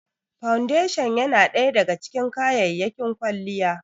Foundation ya na ɗaya daga cikin kayyayakin kwalliya